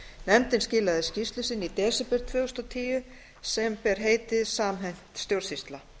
nefndin skilaði skýrslu sinni í desember tvö þúsund og tíu sem ber heitið samhent stjórnsýsla